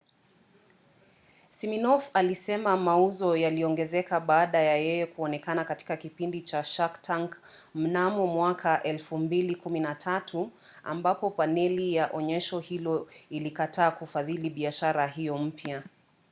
siminoff alisema mauzo yaliongezeka baada ya yeye kuonekana katika kipindi cha shark tank mnamo 2013 ambapo paneli ya onyesho hilo ilikataa kufadhili biashara hiyo mpya